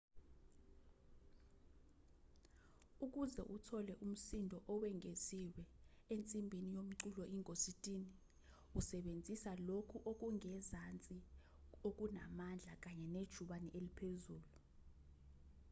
ukuze uthole umsindo owengeziwe ensimbini yomculo ingositini usebenzisa lokhu okungezansi okunamandla kanye nejubane eliphezulu